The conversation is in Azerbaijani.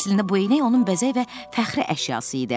Əslində bu eynək onun bəzək və fəxri əşyası idi.